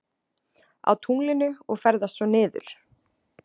Á tunglinu og ferðast svo niður?